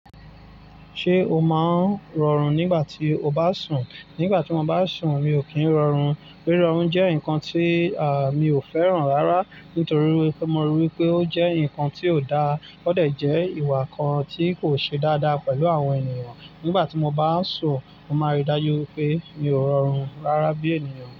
Ṣé o máa ń rọrùn nígbà tí o bá sùn? Nígbà tí mo bá sùn, mi ò kí ń rọrùn. Rí rọrùn jẹ́ nǹkan tí, à, mi ò fẹ́ràn rárá nítorí wipe mo rí wipé ó jẹ́ nǹkan tí ò dáa. Ó de jẹ́ ìwà kan tí kò ṣe dáadáa pẹ̀lú àwọn ènìyàn. Nígbà tí mo bá n sùn, mo máa n rí i dájú wipé mi ò rọrùn rárá bí ènìyàn.